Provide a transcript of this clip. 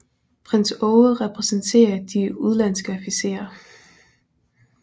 Prins Aage repræsenterer de udenlandske officerer